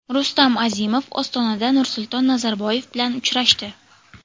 Rustam Azimov Ostonada Nursulton Nazarboyev bilan uchrashdi.